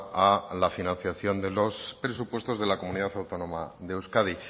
a la financiación de los presupuestos de la comunidad autónoma de euskadi